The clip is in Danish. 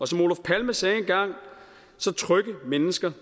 som olof palme sagde engang trygge mennesker